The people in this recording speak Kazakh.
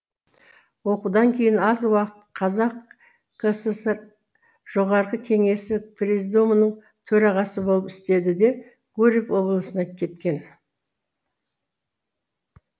оқудан кейін аз уақыт қазақ кср жоғарғы кеңесі президиумының төрағасы болып істеді де гурьев облысына кеткен